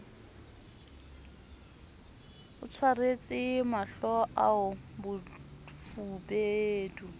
a tsweretse mahlo ao bofubedu